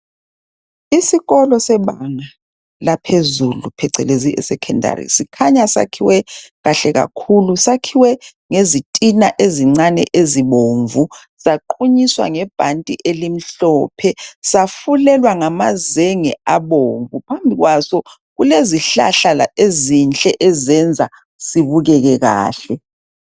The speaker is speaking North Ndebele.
isikolo sebanga laphezulu phecelezi secondary kukhanya sakhiwe kahle kakhulu sakhiwe ngezitina ezincane ezibomvu zaqunyiswa nge bhanti elimhlophe safulelwa ngamazenge abomvu, phambi kwaso kulezihlahla ezinhle ezenza sibukeke kahle